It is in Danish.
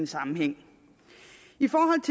sammenhæng i forhold